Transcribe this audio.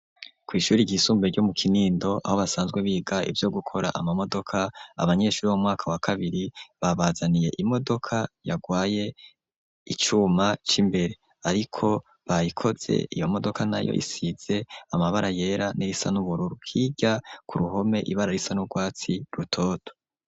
Kwishuri ry'isumbuye ryo mu Kinindo aho basanzwe biga ivyo gukora ama modoka . Abanyeshuri b'umwaka wa kabiri babazaniye imodoka yarwaye. Icuma cimbere ariko bayikoze iyo modoka nayo isize amabara yera n'irisa nubururu hirya ku ruhome ibara risa nubwatsi rutoto.